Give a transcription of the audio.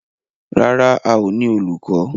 Rárá, a ó ní olùkọ́.